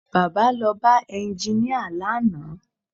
Baba lọ bá ẹnginíà lánàá